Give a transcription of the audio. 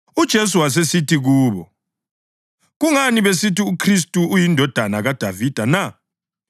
UJesu wasesithi kubo, “Kungani besithi uKhristu uyiNdodana kaDavida na?